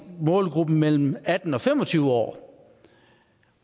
målgruppen mellem atten og fem og tyve år